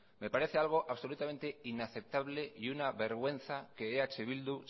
me parece algo absolutamente inaceptable y una vergüenza que eh bildu